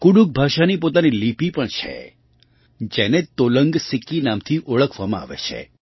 કુડુખ ભાષાની પોતાની લિપિ પણ છે જેને તોલંગ સિકી નામથી ઓળખવામાં આવે છે